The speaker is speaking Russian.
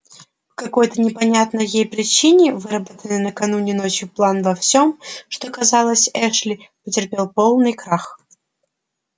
какой-то непонятной ей причине выработанный накануне ночью план во всём что касалось эшли потерпел полный крах